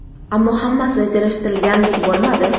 Ammo hammasi rejalashtirilganidek bo‘lmadi.